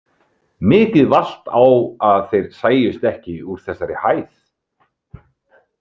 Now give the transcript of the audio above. Mikið valt á að þeir sæjust ekki úr þessari hæð.